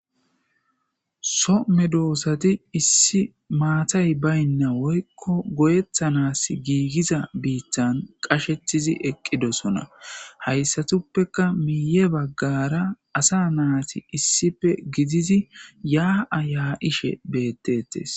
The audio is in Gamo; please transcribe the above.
Some doossati issi maatay baynna woykko goyethanas giigiza biittan qashetizi eqqidosona hayssatuppeka miiye baggara asa naati issipe gidizi yaa'aya ishe beettettes.